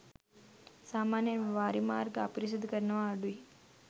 සාමාන්‍යයෙන් වාරිමාර්ග අපිරිසිදු කරනව අඩුයි.